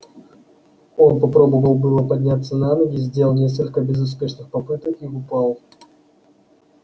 он попробовал было подняться на ноги сделал несколько безуспешных попыток и упал